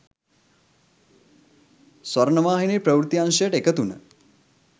ස්වර්ණවාහිනී ප්‍රවෘත්ති අංශයට එකතු වුණ